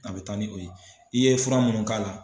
A bɛ taa ni o ye i ye fura minnu k'a la